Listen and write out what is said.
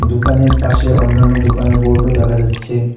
দোকানের পাশে অন্যান্য দোকানের বোর্ডও দেখা যাচ্ছে।